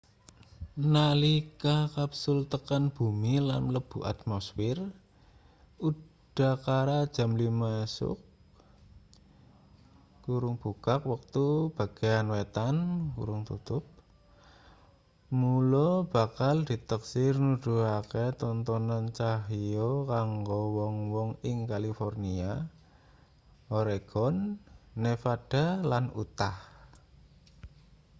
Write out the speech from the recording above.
nalika kapsul tekan bumi lan mlebu atmosfir udakara jam 5 esuk wektu bagean wétan mula bakal diteksir nuduhake tontonan cahya kanggo wong-wong ing kalifornia oregon nevada lan utah